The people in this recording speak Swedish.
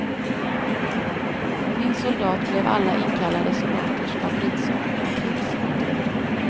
Min soldat blev alla inkallade soldaters favoritsång under krigsåren.